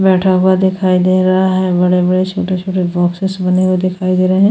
बैठा हुआ दिखाई दे रहा है बड़े-बड़े छोटे-छोटे बॉक्सेस बने हुए दिखाई दे रहे हैं --